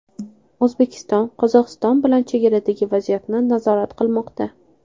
O‘zbekiston Qirg‘iziston bilan chegaradagi vaziyatni nazorat qilmoqda.